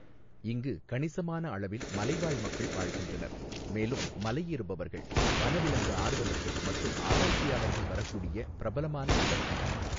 இங்கு கணிசமான அளவில் மலைவாழ் மக்கள் வாழ்கின்றனர், மேலும் மலையேறுபவர்கள், வனவிலங்கு ஆர்வலர்கள் மற்றும் ஆராய்ச்சியாளர்கள் வரக்கூடிய பிரபலமான இடம் இது.